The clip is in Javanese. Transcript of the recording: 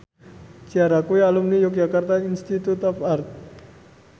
Ciara kuwi alumni Yogyakarta Institute of Art